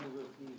Gəl bura.